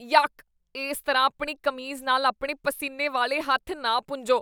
York. ਇਸ ਤਰ੍ਹਾਂ ਆਪਣੀ ਕਮੀਜ਼ ਨਾਲ ਆਪਣੇ ਪਸੀਨੇ ਵਾਲੇ ਹੱਥ ਨਾ ਪੂੰਝੋ।